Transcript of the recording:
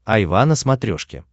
айва на смотрешке